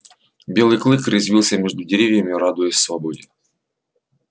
белый клык резвился между деревьями радуясь свободе